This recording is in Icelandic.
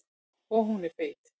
Og hún er feit.